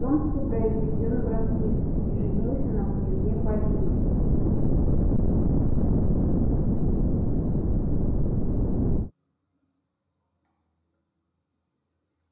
томский произведён в ротмистры и женится на княжне полине